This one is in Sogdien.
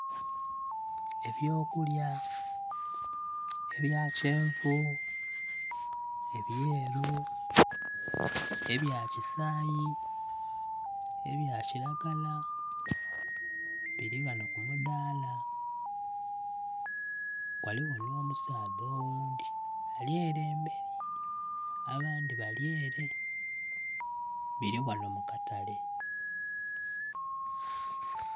Eby'okulya ebya kyenvu, ebyeru, ebya kisayi, ebya kiragala biri wano ku mudaala. Ghaligho n'omusaadha oghundhi ali ere emberi, abandhi bali ere. Biri wano mu katale.